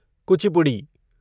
Kuchipudi